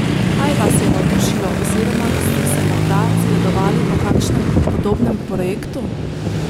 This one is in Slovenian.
Kaj vas je navdušilo oziroma ste se morda zgledovali po kakšnem podobnem projektu?